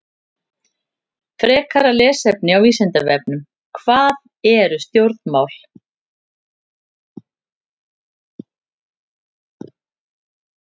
Frekara lesefni á Vísindavefnum: Hvað eru stjórnmál?